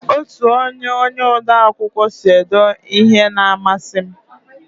Otu onye onye ode akwụkwọ sị ede ihe n'amasi m